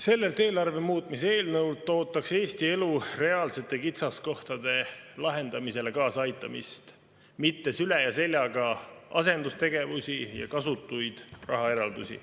Sellelt eelarve muutmise eelnõult ootaks Eesti elu reaalsete kitsaskohtade lahendamisele kaasaaitamist, mitte süle ja seljaga asendustegevusi ja kasutuid rahaeraldusi.